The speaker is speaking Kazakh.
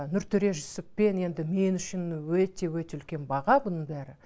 нұртөре жүсіппен енді мен үшін өте өте үлкен баға бұның бәрі